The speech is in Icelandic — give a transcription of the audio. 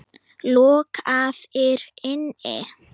Lokaðir inni?